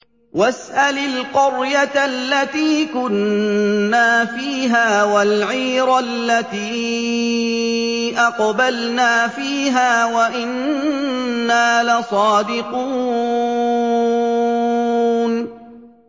وَاسْأَلِ الْقَرْيَةَ الَّتِي كُنَّا فِيهَا وَالْعِيرَ الَّتِي أَقْبَلْنَا فِيهَا ۖ وَإِنَّا لَصَادِقُونَ